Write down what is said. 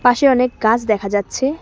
পাশে অনেক গাছ দেখা যাচ্ছে।